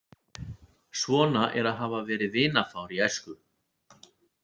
Svona er að hafa verið vinafár í æsku.